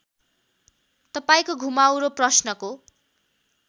तपाईँको घुमाउरो प्रश्नको